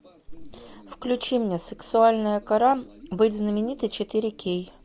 включи мне сексуальная кара быть знаменитой четыре кей